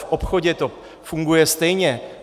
V obchodě to funguje stejně.